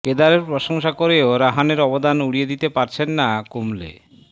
কেদারের প্রশংসা করেও রাহানের অবদান উড়িয়ে দিতে পারছেন না কুম্বলে